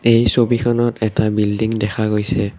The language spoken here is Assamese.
এই ছবিখনত এটা বিল্ডিং দেখা গৈছে।